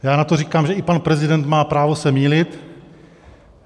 Já na to říkám, že i pan prezident má právo se mýlit.